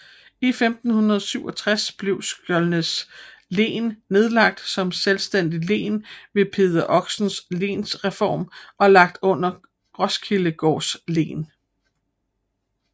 I 1567 blev Skjoldenæs Len nedlagt som selvstændigt len ved Peder Oxes lensreform og lagt under Roskildegaards len